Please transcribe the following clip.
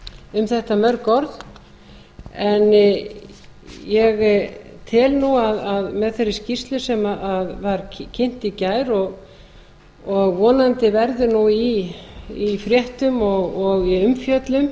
um þetta mörg orð en ég tel nú að með þeirri skýrslu sem var kynnt í gær og vonandi verður nú í fréttum og í umfjöllun